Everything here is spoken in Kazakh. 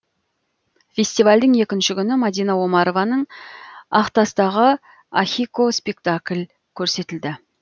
фестивальдің екінші күні мадина омарованың ақтастағы ахико спектакль көрсетілді